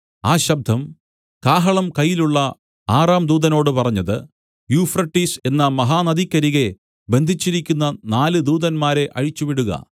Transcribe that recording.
ആ ശബ്ദം കാഹളം കയ്യിലുള്ള ആറാം ദൂതനോട് പറഞ്ഞത് യൂഫ്രട്ടീസ് എന്ന മഹാനദിക്കരികെ ബന്ധിച്ചിരിക്കുന്ന നാല് ദൂതന്മാരെ അഴിച്ചുവിടുക